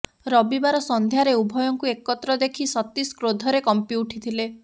ରବିବାର ସନ୍ଧ୍ୟାରେ ଉଭୟଙ୍କୁ ଏକତ୍ର ଦେଖି ସତୀଶ କ୍ରୋଧରେ କମ୍ପିଉଠିଥିଲେ